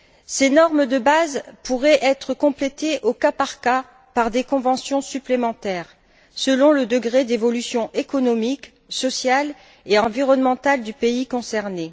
Ces normes de base pourraient être complétées au cas par cas par des conventions supplémentaires selon le degré d'évolution économique, sociale et environnementale du pays concerné.